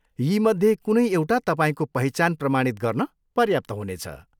यीमध्ये कुनै एउटा तपाईँको पहिचान प्रमाणित गर्न पर्याप्त हुनेछ।